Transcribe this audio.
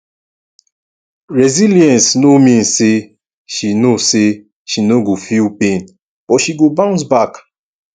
resilience no mean say she no say she no go feel pain but she go bounce back